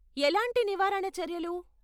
ఎలాంటి నివారణ చర్యలు?